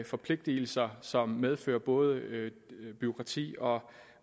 forpligtelser som medfører både bureaukrati og